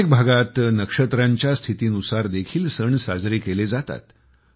अनेक भागात नक्षत्रांच्या स्थितीनुसार देखील सण साजरे केले जातात